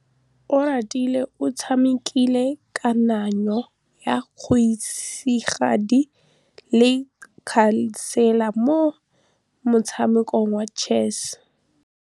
Oratile o tshamekile kananyô ya kgosigadi le khasêlê mo motshamekong wa chess.